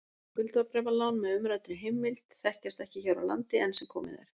Skuldabréfalán með umræddri heimild þekkjast ekki hér á landi enn sem komið er.